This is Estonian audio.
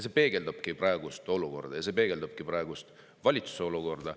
See peegeldabki praegust olukorda, kaasa arvatud praegust valitsuse olukorda.